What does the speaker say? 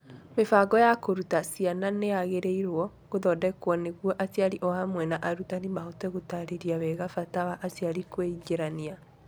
Mĩbango ya kũruta ciana nĩ yagĩrĩirũo gũthondekwo nĩguo aciari o hamwe na arutani mahote gũtaarĩria wega bata wa aciari kwĩingĩrania.